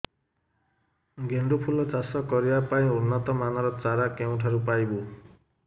ଗେଣ୍ଡୁ ଫୁଲ ଚାଷ କରିବା ପାଇଁ ଉନ୍ନତ ମାନର ଚାରା କେଉଁଠାରୁ ପାଇବୁ